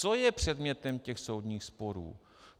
Co je předmětem těch soudních sporů.